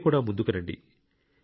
మీరు కూడా ముందుకు రండి